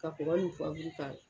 Ka kura yufabugu ka.